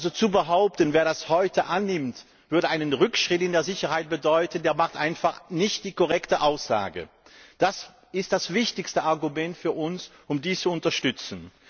Wer also behauptet, wer das heute annimmt, würde einen Rückschritt in der Sicherheit bewirken, der macht einfach keine korrekte Aussage. Das ist das wichtigste Argument für uns, um dies zu unterstützen.